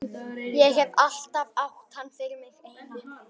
Ég hef alltaf átt hann fyrir mig eina.